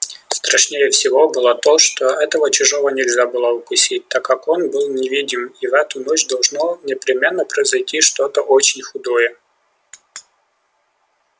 страшнее всего было то что этого чужого нельзя было укусить так как он был невидим и в эту ночь должно непременно произойти что-то очень худое